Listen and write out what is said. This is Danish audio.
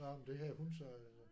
Nåh men det havde hun så